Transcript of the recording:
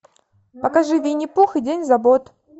покажи винни пух и день забот